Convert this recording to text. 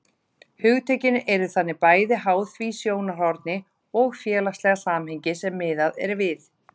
Hugtökin eru þannig bæði háð því sjónarhorni og félagslega samhengi sem miðað er við.